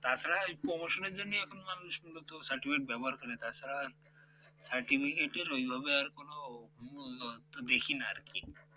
তাছাড়া ওই promotion এর জন্য এখন মানুষ মূলত certificate ব্যবহার করে তাছাড়া আর certificate এর ওইভাবে আর কোনো কোন দেখি না আর কি